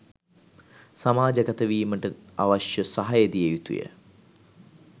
සමාජගත වීමට අවශ්‍ය සහාය දිය යුතු ය